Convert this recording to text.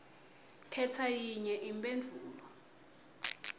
khetsa yinye imphendvulo